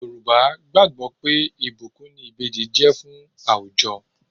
Yorùbá gbàgbó pé ìbùkún ni Ìbejì jẹ́ fún àwùjọ.